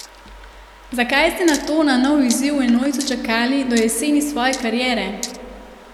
Zakaj ste nato na nov izziv v enojcu čakali do jeseni svoje kariere?